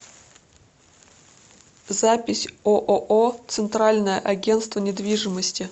запись ооо центральное агентство недвижимости